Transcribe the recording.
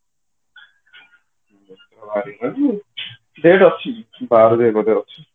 ବାହାରିଗଲାଣି date ଅଛି ବାର ଯାଏ ବୋଧେ ଅଛି